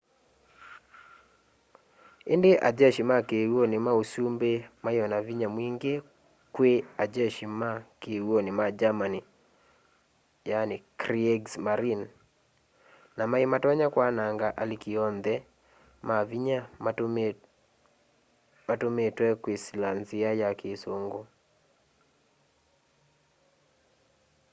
indi a jeshi ma kiw'uni ma usumbi mai o na vinya mwingi kwii ajeshi ma kiw'uni ma germany kriegsmarine” na mai matonya kwananga aliki onthe ma vinya matumitwe kwisila nzia ya kisungu